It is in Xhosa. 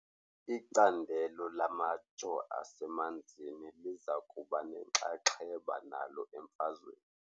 Icandelo lamajoo asemanzini liza kuba nenxaxheba nalo emfazweni.